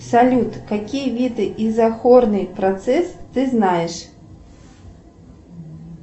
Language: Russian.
салют какие виды изохорный процесс ты знаешь